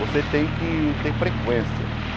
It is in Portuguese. Você tem que ter frequência.